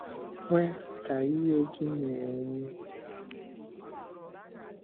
Kwe ka ìhè gị na-enwu n’ọmụmụ Ebe Obibi.